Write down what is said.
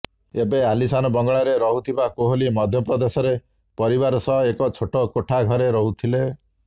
ଏବେ ଆଲିଶାନ ବଙ୍ଗଲାରେ ରହୁଥିବା କୋହଲି ମଧ୍ୟପ୍ରଦେଶରେ ପରିବାର ସହ ଏକ ଛୋଟ କୋଠା ଘରେ ରହୁଥିଲେ